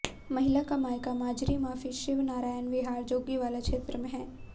महिला का मायका माजरी माफी शिव नारायण विहार जोगीवाला क्षेत्र में है